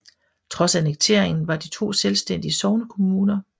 Trods annekteringen var de to selvstændige sognekommuner